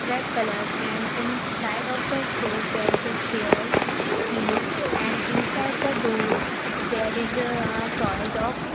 red colour and inside of the store there is a stairs seen and inside the door there is a a toys of --